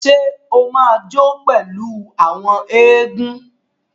Ṣe o ma jó pẹlu àwọn egun?